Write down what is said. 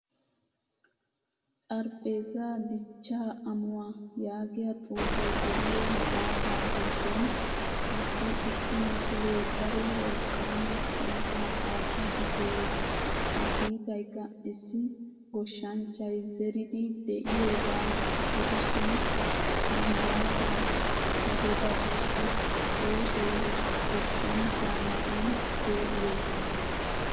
Xaraphphezza dichchaa ammuwaa yaagiyaa xuufe de'iyo malaataa giddon qassi issi misile daro wolqqaama kiitta aattidi de'ees. Ha kiittaykka issi goshshanchchay zeridi deiyoga gidishin ha malaata godatussi oosoy goshshanchcha matan pe'iyoga.